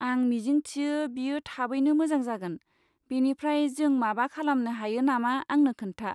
आं मिजिंथियो बियो थाबैनो मोजां जागोन, बेनिफ्राय जों माबा खालामनो हायो नामा आंनो खोन्था।